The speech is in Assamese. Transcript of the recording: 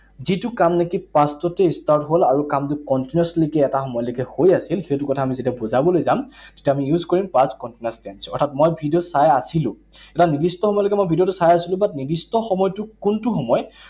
যিটো কাম নেকি past তেই start হল আৰু কামটো continuously এটা সময় লৈকে হৈ আছিল, সেইটো কথা আমি যেতিয়া বুজাবলৈ যাম, তেতিয়া আমি use কৰিম past continuous tense, অৰ্থাৎ মই ভিডিঅ চাই আছিলো। এটা নিৰ্দিষ্ট সময়লৈকে মই ভিডিঅটো চাই আছিলো but নিৰ্দিষ্ট সময়টো কোনটো সময়